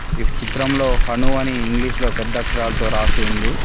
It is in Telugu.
ఈ చిత్రంలో హను అని ఇంగ్లీషులో పెద్ద అక్షరాలతో రాసి ఉంది.